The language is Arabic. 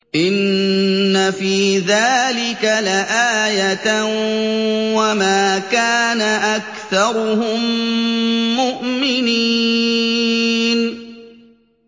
إِنَّ فِي ذَٰلِكَ لَآيَةً ۖ وَمَا كَانَ أَكْثَرُهُم مُّؤْمِنِينَ